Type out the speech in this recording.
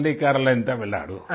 only Kerala and Tamil Nadu